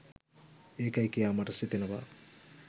ඒකයි කියා මට සිතෙනවා.